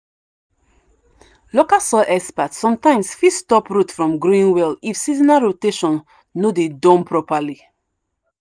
local soil experts sometimes fit stop root from growing well if seasonal rotation no dey done properly.